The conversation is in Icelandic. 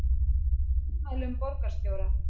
Fagnar ummælum borgarstjóra